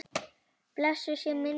Blessuð sé minning þín Bjarni.